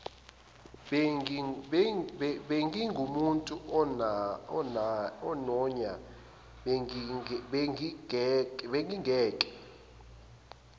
bengingumuntu ononya bengingeke